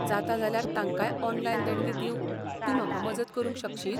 जाता जाल्यार तांकांय ऑनलायन देणगी दिवंक तूं म्हाका मजत करूंक शकशीत?